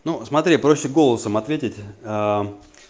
ну смотри проще голосом ответить